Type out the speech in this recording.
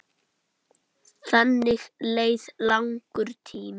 Þannig leið langur tími.